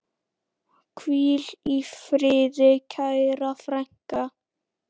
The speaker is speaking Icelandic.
Hvíl í friði, kæra frænka.